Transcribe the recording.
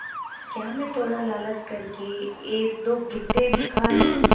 क्या मैं थोड़ा लालच कर के एकदो भुट्टे भी खा लूँ